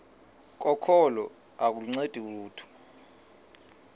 kokholo aluncedi lutho